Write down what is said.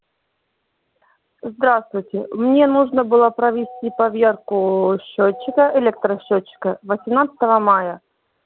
здравствуйте мне нужно было провести поверку счётчика электросчётчика восемнадцатого мая